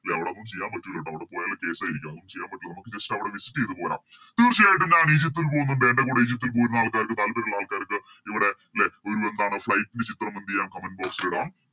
ലെ അവിടെയൊന്നും ചെയ്യാൻ പറ്റൂലട്ടോ അവിടെ പോയാല് Case ആരിക്കും അതൊന്നും ചെയ്യാൻ പറ്റൂല നമുക്ക് Just അവിടെ Visit ചെയ്ത പോരാം തീർച്ചയായിട്ടും ഞാൻ ഈജിപ്തിൽ പോവുന്നുണ്ട് എൻറെ കൂടെ ഈജിപ്തിൽ പോരുന്ന ആൾക്കാർക്ക് താല്പര്യയോള്ള ആൾക്കാർക്ക് ഇവിടെ ലെ ഒരു എന്താണ് Flight ചിത്രം എന്തെയ്യം Comment box ലിടാം